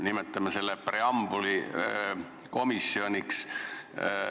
Nimetame selle siis preambulikomisjoniks.